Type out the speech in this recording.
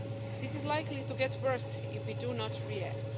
This is likely to get worse if we do not react.